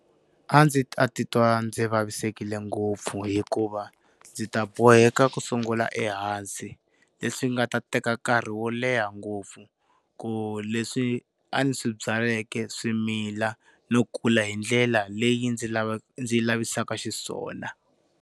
A ndzi ta titwa ndzi vavisekile ngopfu hikuva ndzi ta boheka ku sungula ehansi, leswi nga ta teka nkarhi wo leha ngopfu ku leswi a ni swi byaleke swimila no kula hi ndlela leyi ndzi lavaka ndzi lavisaka xiswona.